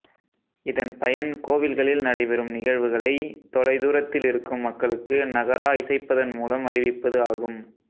இதன் பயன் கோவில்களில் நடைபெறும் நிகழ்வுகளை தொலை தூரத்தில் இருக்கும் மக்களுக்கு நகரா இசைப்பதன் மூலம் அறிவிப்பது ஆகும்